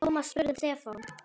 Thomas spurði um Stefán.